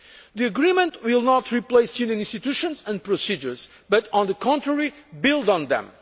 The agreement will not replace Union institutions and procedures but will, on the contrary, build